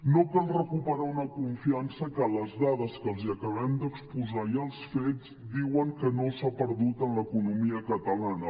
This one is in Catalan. no cal recuperar una confiança que les dades que els acabem d’exposar i els fets diuen que no s’ha perdut en l’economia catalana